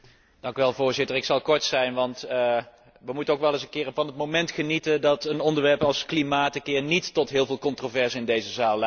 Voorzitter, ik zal kort zijn, want we moeten ook eens van het moment genieten dat een onderwerp als klimaat eens een keer niet tot heel veel controverse in deze zaal leidt.